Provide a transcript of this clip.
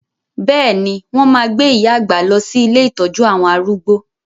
Bẹ́ẹ̀ni, wọn máa gbé iya àgbà lọ sí ilé ìtọ́jú àwọn arúgbó.